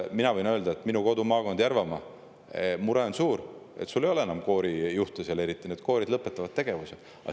Mina võin öelda, et minu kodumaakonnas Järvamaal on suur mure, sest ei ole enam eriti koorijuhte ja koorid lõpetavad tegevuse.